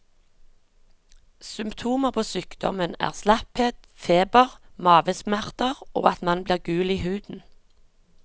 Symptomer på sykdommen er slapphet, feber, mavesmerter og at man blir gul i huden.